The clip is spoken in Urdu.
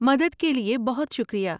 مدد کے لیے بہت شکریہ۔